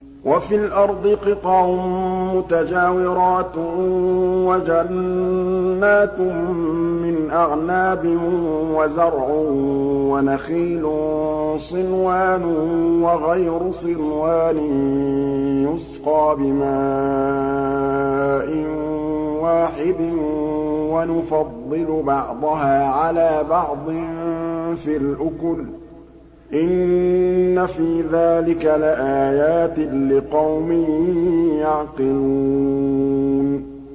وَفِي الْأَرْضِ قِطَعٌ مُّتَجَاوِرَاتٌ وَجَنَّاتٌ مِّنْ أَعْنَابٍ وَزَرْعٌ وَنَخِيلٌ صِنْوَانٌ وَغَيْرُ صِنْوَانٍ يُسْقَىٰ بِمَاءٍ وَاحِدٍ وَنُفَضِّلُ بَعْضَهَا عَلَىٰ بَعْضٍ فِي الْأُكُلِ ۚ إِنَّ فِي ذَٰلِكَ لَآيَاتٍ لِّقَوْمٍ يَعْقِلُونَ